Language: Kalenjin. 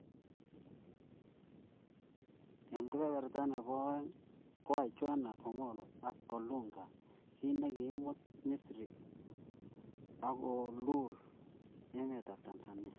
Eng kebeberta nebo oeng koai Johanna Omollo ak Olunga kiit ne kiimut Misri akoluul emetab Tanzania